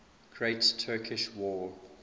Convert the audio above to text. great turkish war